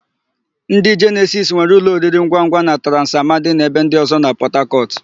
Ndị Jenesis nwere ụlọ oriringwangwa na Transi Amadi na ebe ndị ọ̀zọ́ na Pọtakọtụ.